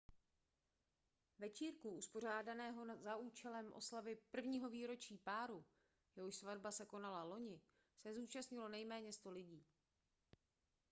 večírku uspořádaného za účelem oslavy prvního výročí páru jehož svatba se konala loni se zúčastnilo nejméně 100 lidí